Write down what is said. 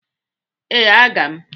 Ee, aga m.